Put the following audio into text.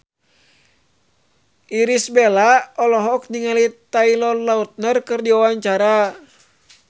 Irish Bella olohok ningali Taylor Lautner keur diwawancara